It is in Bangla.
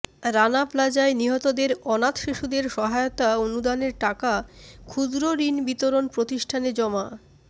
রানা প্লাজায় নিহতদের অনাথ শিশুদের সহায়তা অনুদানের টাকা ক্ষুদ্রঋণ বিতরণ প্রতিষ্ঠানে জমা